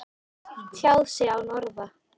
Tjáð sig án orða